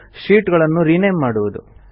sheet ಗಳನ್ನು rename ಮಾಡುವುದು